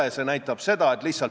Ehk sa natuke avad seda tausta?